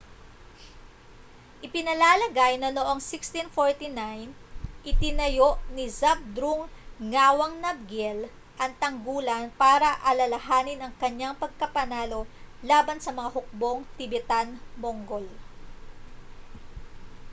ipinalalagay na noong 1649 itinayo ni zhabdrung ngawang namgyel ang tanggulan para alalahanin ang kaniyang pagkapanalo laban sa mga hukbong tibetan-mongol